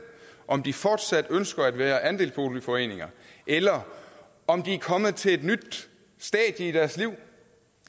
om de fortsat ønsker at være i andelsboligforeninger eller om de er kommet til et nyt stadie i deres liv